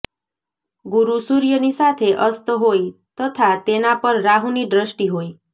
ગુરુ સૂર્યની સાથે અસ્ત હોય તથા તેના પર રાહુની દ્રષ્ટિ હોય